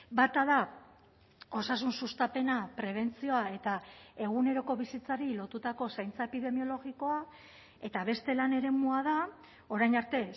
bata da osasun sustapena prebentzioa eta eguneroko bizitzari lotutako zaintza epidemiologikoa eta beste lan eremua da orain arte